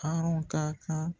Hɔrɔn ka kan